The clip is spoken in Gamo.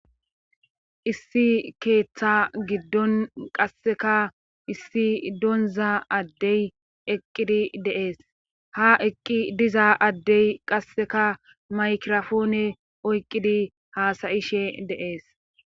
Issi ketha gidon qaseka issi donza adey eqidi de'es ha eqi diza adey qaseka makirapone oykidi hasayishe de'es